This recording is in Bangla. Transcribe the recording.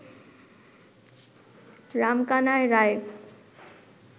রামকানাই রায়